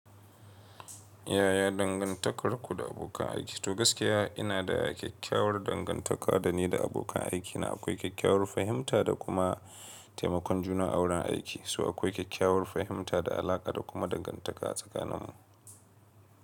Yaya dangantakarku da abokan aiki? To gaskiya ina da kyakkyawar dangantaka da ni da abokan aikina. Akwai kyakkyawar fahimta da kuma taimakon juna a wurin aiki, so akwai kyakkyawar fahimta da alaƙa da kuma dangantaka a tsakaninmu.